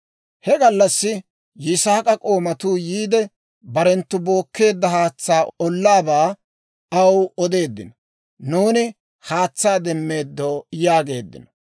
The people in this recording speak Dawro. He gallassi Yisaak'a k'oomatuu yiide, barenttu bookkeedda haatsaa ollaabaa aw odeeddino; «Nuuni haatsaa demmeeddo» yaageeddino.